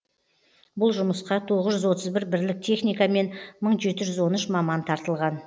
бұл жұмысқа тоғыз жүз отыз бір бірлік техника мен мың жеті жүз он үш маман тартылған